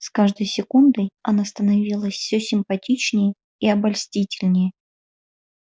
с каждой секундой она становилась всё симпатичнее и обольстительнее